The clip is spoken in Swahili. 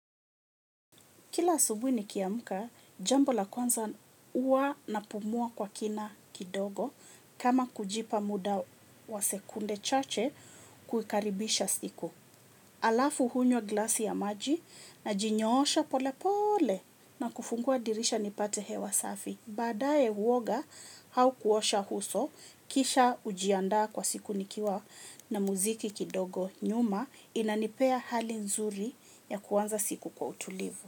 Kila asubuhi nikiamka, jambo la kwanza huwa napumua kwa kina kidogo kama kujipa muda wa sekunde chache kukaribisha siku. Alafu hunywa glasi ya maji najinyosha pole pole na kufungua dirisha nipate hewa safi. Baadae huoga au kuosha uso kisha hujiandaa kwa siku nikiwa na muziki kidogo nyuma inanipea hali nzuri ya kwanza siku kwa utulivu.